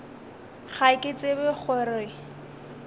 ga ke tsebe go re